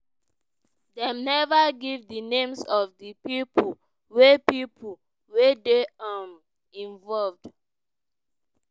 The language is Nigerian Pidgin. dem neva give di names of di pipo wey pipo wey dey um involved.